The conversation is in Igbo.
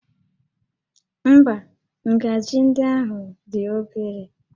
Ḿbá, ngaji ndị ahụ dị obere